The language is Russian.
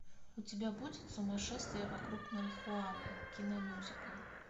у тебя будет сумасшествие вокруг марихуаны киномюзикл